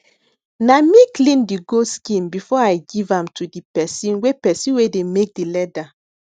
na me clean de goat skin before i give am to de person wey person wey de make de leather